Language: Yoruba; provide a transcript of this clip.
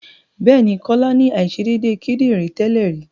Bẹ́ẹ̀ ni, Kọ́lá ní àìṣedédé kídìrí tẹ́lè rí.